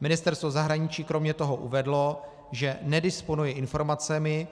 Ministerstvo zahraničí kromě toho uvedlo, že nedisponuje informacemi,